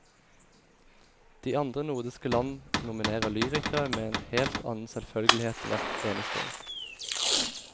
De andre nordiske land nominerer lyrikere med en helt annen selvfølgelighet hvert eneste år.